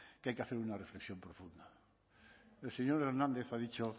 que hay que hacer una reflexión profunda el señor hernández ha dicho